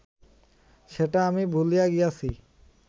সেটা আমি ভুলিয়া গিয়াছি